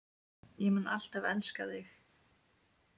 Ég mun alltaf elska þig.